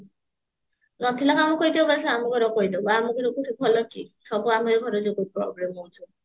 ରଖିଲେ କଣ ହବ କହିଦିଅ ବାସ ଆମ ଘର କହିଡବୁ ଆମକୁ ସବୁ ଆମ ଘର ଲୋକଙ୍କୁ problem ହଉଛି